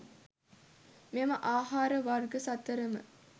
මෙම ආහාර වර්ග සතරම